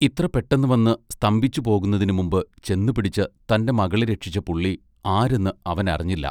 ഇത്ര പെട്ടന്ന് വന്ന് സ്തംഭിച്ചുപോകുന്നതിനു മുമ്പു ചെന്ന് പിടിച്ച് തന്റെ മകളെ രക്ഷിച്ച പുള്ളി ആരെന്ന് അവൻ അറിഞ്ഞില്ല.